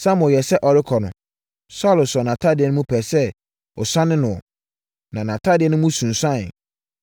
Samuel yɛɛ sɛ ɔrekɔ no, Saulo sɔɔ nʼatadeɛ mu pɛɛ sɛ ɔsane noɔ, na atadeɛ no mu suaneeɛ.